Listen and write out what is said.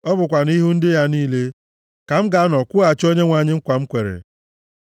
Ọ bụkwa nʼihu ndị ya niile ka m ga-anọ kwụghachi Onyenwe anyị nkwa m kwere,